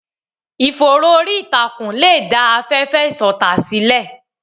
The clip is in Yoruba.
Ìfòòró orí ìtàkùn lè dá afẹ́fẹ́ ìṣọ̀tá sílẹ̀.